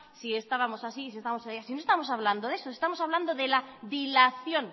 con que estábamos así o estamos allá pero si no estamos hablando de eso estamos hablando de la dilación